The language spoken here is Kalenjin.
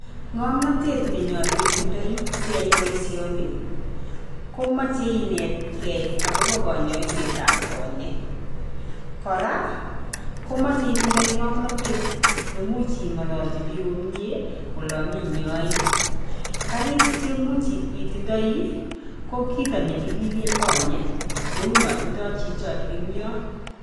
Ng'omnatet nenyolu itindoi siyai boisioni, ko moche inetgei agobo konyoisetab konyeek. Koraa, ko moche itindoi ng'amnatet ne imuch ing'ololji biik komie olon inyoii. Karik cheimuch itindoi, ko kiit nekililee konyeek neu non tindoi chicho eng' yon.